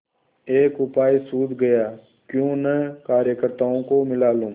एक उपाय सूझ गयाक्यों न कार्यकर्त्ताओं को मिला लूँ